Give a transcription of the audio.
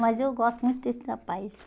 Mas eu gosto muito desse rapaz.